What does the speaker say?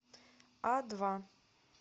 адва